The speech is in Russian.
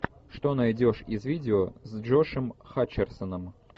что найдешь из видео с джошем хатчерсоном